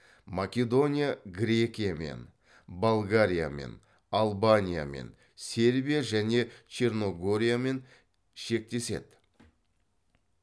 македония грекиямен болгариямен албаниямен сербия және черногориямен шектеседі